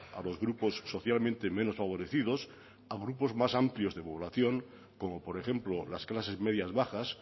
a los grupos socialmente menos favorecidos a grupos más amplios de población como por ejemplo las clases medias bajas